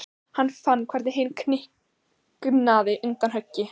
Hann fann hvernig hinn kiknaði undan högginu.